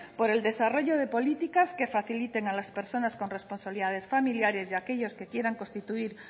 por el desarrollo de políticas que faciliten a las personas con responsabilidades familiares y aquellos que quiera constituir